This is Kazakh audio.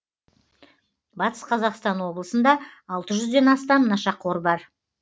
батыс қазақстан облысында алты жүзден астам нашақор бар